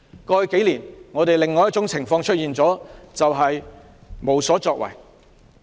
過去數年，我們出現了另一種情況，便是無所作為。